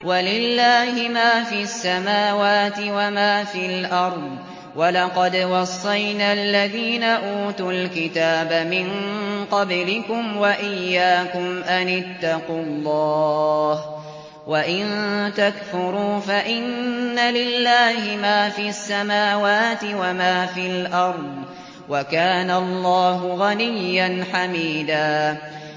وَلِلَّهِ مَا فِي السَّمَاوَاتِ وَمَا فِي الْأَرْضِ ۗ وَلَقَدْ وَصَّيْنَا الَّذِينَ أُوتُوا الْكِتَابَ مِن قَبْلِكُمْ وَإِيَّاكُمْ أَنِ اتَّقُوا اللَّهَ ۚ وَإِن تَكْفُرُوا فَإِنَّ لِلَّهِ مَا فِي السَّمَاوَاتِ وَمَا فِي الْأَرْضِ ۚ وَكَانَ اللَّهُ غَنِيًّا حَمِيدًا